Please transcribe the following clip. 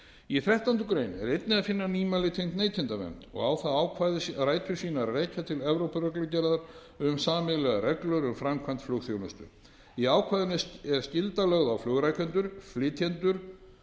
í þrettándu grein er einnig að finna nýmæli tengt neytendavernd og á það ákvæði rætur sínar að rekja til evrópureglugerðar um sameiginlegar reglur um framkvæmd flugþjónustu í ákvæðinu er skylda lögð á flugrekendur flytjendur